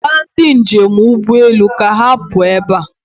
Gwa ndị njem ụgbọelu ka ha pụọ ebe a.